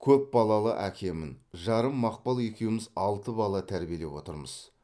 көпбалалы әкемін жарым мақпал екеуміз алты бала тәрбилеп отырмыз